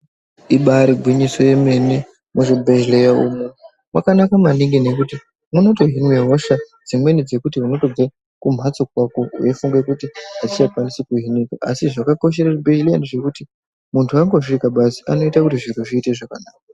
Ibari gwinyiso yomene. Muzvibhedhlera umu makanaka maningi nekuti munotouya nedzimwe hosha zvekuti unoti kumhatso kwako uchifunga kuti hauchakwanisi kuuya inoiyi. Asi zvakakoshera mberi ndezvekuti muntu atosvika basi , anotoia kuti zviro zviite zvakanaka.